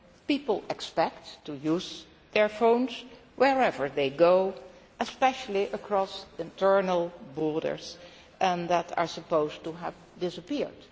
People expect to use their phones wherever they go, especially across internal borders, which are supposed to have disappeared.